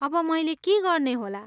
अब मैले के गर्ने होला?